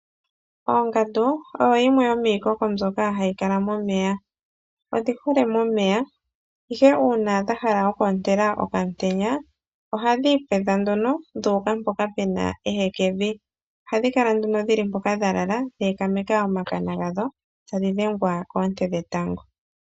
Ongandu oyo yimwe yomiikoko mbyoka hayi kala momeya. Odhi hole momeya ihe uuna dha hala oku ontela okamutenya ohadhi ipwedha nduno dhu uka mpoka pu na ehekevi, ohadhi kala nduno dhi li mpoka dha lala dhe ekameka omakana gadho tadhi dhengwa koonte dhetango.